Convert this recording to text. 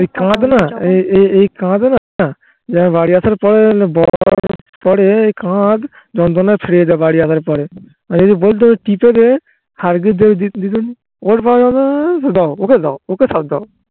খাওয়াবেনা এ খাওয়াবেনা বাড়ি আসার পরে যন্ত্রনায় ছিড়ে যায় বাড়ি আসার পরে ওকে দাও ওকে দাও ওকে সব দাও